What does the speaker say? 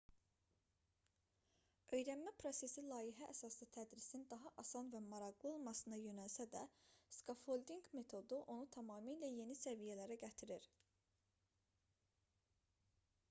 öyrənmə prosesi layihə əsaslı tədrisin daha asan və maraqlı olmasına yönəlsə də skaffoldinq metodu onu tamamilə yeni səviyyələrə gətirir